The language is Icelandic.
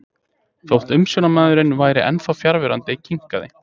Þótt umsjónarmaðurinn væri ennþá fjarverandi kinkaði